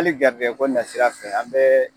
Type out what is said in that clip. Ali garijigɛ ko nasira fɛ an bɛɛ